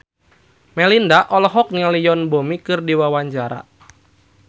Melinda olohok ningali Yoon Bomi keur diwawancara